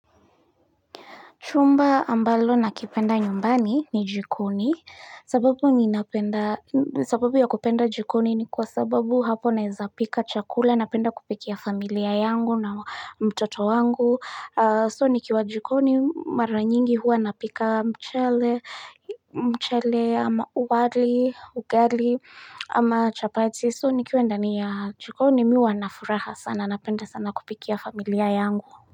Chumba ambalo nakipenda nyumbani ni jikoni, sababu ya kupenda jikoni ni kwa sababu hapo naeza pika chakula, napenda kupikia familia yangu na mtoto wangu, so nikiwa jikoni mara nyingi huwa napika mchele, mchele, wali, ugali, ama chapati, so nikiwa ndani ya jikoni mimi huwa na furaha sana, napenda sana kupikia familia yangu.